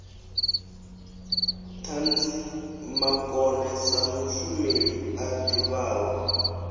ṱhanzimakone sa mushumeli a ḓivhaho